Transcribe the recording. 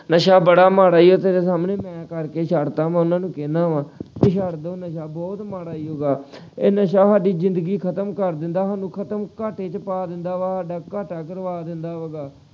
ਨਸ਼ਾ ਬੜਾ ਮਾੜਾ ਈ ਐ ਤੇਰੇ ਸਾਹਮਣੇ ਮੈਂ ਕਰਕੇ ਛੱਡ ਤਾ ਵਾ ਮੈਂ ਉਹਨਾਂ ਨੂੰ ਕਹਿਣਾ ਵਾ ਕਿ ਛੱਡ ਦੋ ਨਸ਼ਾ ਬਹੁਤ ਮਾੜਾ ਈ ਹੈਗਾ। ਇਹ ਨਸ਼ਾ ਸਾਡੀ ਜ਼ਿੰਦਗੀ ਖ਼ਤਮ ਕਰ ਦਿੰਦਾ ਸਾਨੂੰ ਖ਼ਤਮ ਘਾਟੇ ਚ ਪਾ ਦਿੰਦਾ ਵਾ ਸਾਡਾ ਘਾਟਾ ਕਰਵਾ ਦਿੰਦਾ ਵਾ ਗਾ।